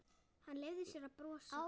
Hann leyfði sér að brosa.